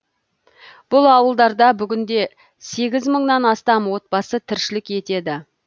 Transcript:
бұл ауылдарда бүгінде сегіз мыңнан астам отбасы тіршілік етеді